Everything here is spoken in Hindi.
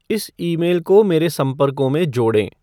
इस ईमेल को मेरे संपर्कों में जोड़ें